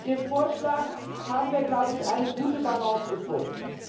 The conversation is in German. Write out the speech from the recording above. Mit dem Vorschlag haben wir, glaube ich, eine gute Balance gefunden.